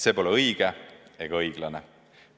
See pole õige ega õiglane.